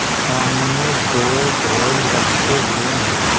सामने दो ढोल रखे हुए हैं।